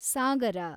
ಸಾಗರ